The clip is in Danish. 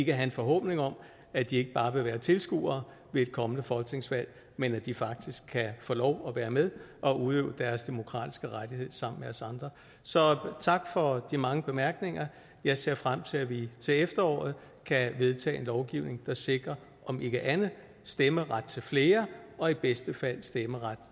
en forhåbning om at de ikke bare vil være tilskuere ved et kommende folketingsvalg men at de faktisk kan få lov at være med og udøve deres demokratiske rettighed sammen med os andre så tak for de mange bemærkninger jeg ser frem til at vi til efteråret kan vedtage en lovgivning der sikrer om ikke andet stemmeret til flere og i bedste fald stemmeret